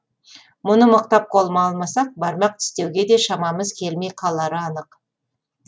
мұны мықтап қолыма алмасақ бармақ тістеуге де шамамыз келмей қалары анық